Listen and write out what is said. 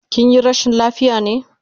Kinyi rashin lafiya ne?